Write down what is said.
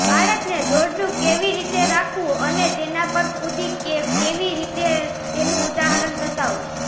બાળકને દોરડું કેવી રીતે રાખવું અને તેના પર કૂદી કેવી રીતે તેનું ઉદાહરણ બતાવો